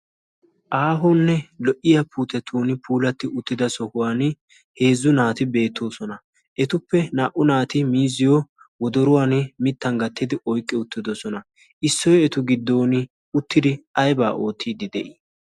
ahonne lo'iya sohuwan puulati uttida naati beetoosona. he naati miiziyo wodoruwan miiziyo ouqqi uttidosona. issoy eta goddon aybaa ootiidi de'ii?